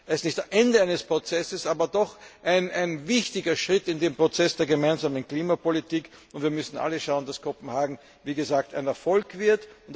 Es ist nicht das Ende eines Prozesses, aber doch ein wichtiger Schritt in dem Prozess der gemeinsamen Klimapolitik, und wir müssen alle schauen, dass Kopenhagen ein Erfolg wird.